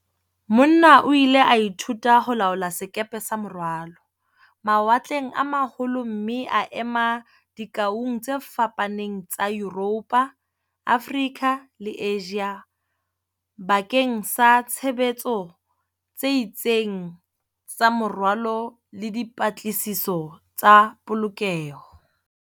Mona o ile a ithuta ho laola sekepe sa morwalo, mawatleng a ma holo mme a ema dikoung tse fapaneng tsa Yuropo, Afrika le Asia bakeng sa tshebetso tse itseng tsa morwalo le di -patlisiso tsa polokeho.